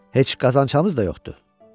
Heç qazanacağımız da yoxdur.